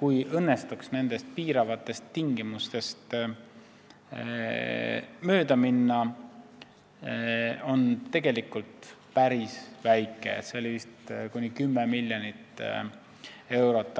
kui õnnestuks nendest piiravatest tingimustest mööda minna, siis see võit on tegelikult päris väike, vist kuni 10 miljonit eurot.